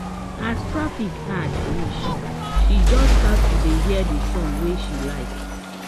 as traffic hard reach she just start to dey hear the songs wey she like